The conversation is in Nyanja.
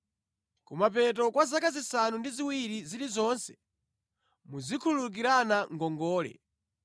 Kumapeto kwa zaka zisanu ndi ziwiri zilizonse, muzikhululukirana ngongole.